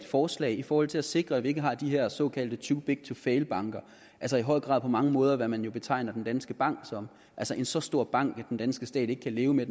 forslag i forhold til at sikre at vi ikke har de her såkaldte too big to fail banker altså i høj grad på mange måder hvad man betegner danske bank som en så stor bank at den danske stat ikke kan leve med